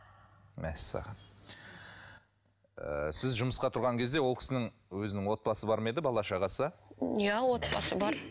мәссаған ыыы сіз жұмысқа тұрған кезде ол кісінің өзінің отбасы бар ма еді бала шағасы иә отбасы бар